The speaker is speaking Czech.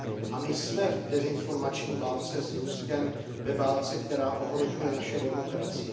A my jsme v dezinformační válce s Ruskem, ve válce, která ohrožuje naše demokracie.